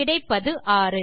கிடைப்பது 6